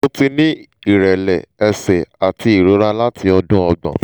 mo ti ní ìrẹ́lẹ̀ ẹ̀sẹ̀ àti ìrora láti odun ogbon